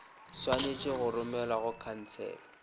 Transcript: swanetše go romelwa go khansele